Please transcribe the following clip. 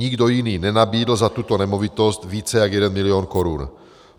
Nikdo jiný nenabídl za tuto nemovitost více jak jeden milion korun.